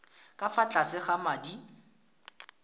ka fa tlase ga madi